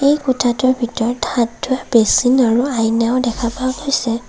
এই কোঠাটোৰ ভিতৰত হাত ধোঁৱা বেচিন আৰু আইনাও দেখা পোৱা গৈছে।